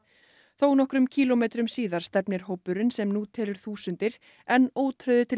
þónokkrum kílómetrum síðar stefnir hópurinn sem nú telur þúsundir enn ótrauður til